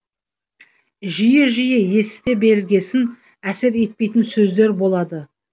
жиі жиі есіте бергесін әсер етпейтін сөздер болады